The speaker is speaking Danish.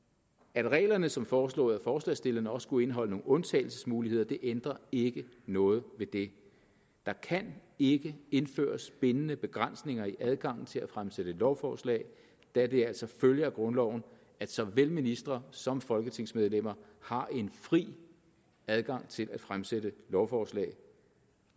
at reglerne som foreslået af forslagsstillerne også skulle indeholde nogle undtagelsesmuligheder ændrer ikke noget ved det der kan ikke indføres bindende begrænsninger i adgangen til at fremsætte lovforslag da det altså følger af grundloven at såvel ministre som folketingsmedlemmer har en fri adgang til at fremsætte lovforslag